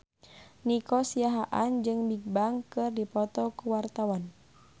Nico Siahaan jeung Bigbang keur dipoto ku wartawan